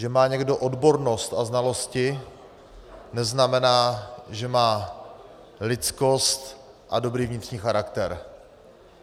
Že má někdo odbornost a znalosti, neznamená, že má lidskost a dobrý vnitřní charakter.